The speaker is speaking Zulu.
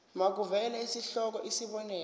makuvele isihloko isib